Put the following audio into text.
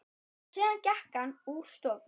Síðan gekk hann úr stofu.